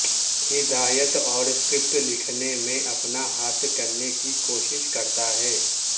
ہدایت اور سکرپٹ لکھنے میں اپنا ہاتھ کرنے کی کوشش کرتا ہے